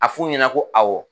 A f'u ɲɛna ko awɔ